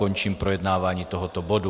Končím projednávání tohoto bodu.